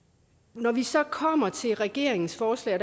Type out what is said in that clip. når vi så kommer til regeringens forslag